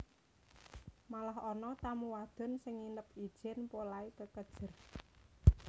Malah ana tamu wadon sing nginep ijèn polahé kekejer